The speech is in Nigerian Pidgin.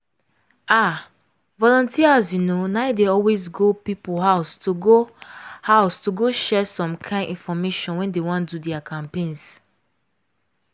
ah! volunteers you know na dey always go people house to go house to go share some kind infomation when dey wan do their campaigns.